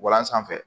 Walan sanfɛ